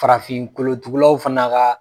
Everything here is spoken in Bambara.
Farafin kolotugulaw fana ka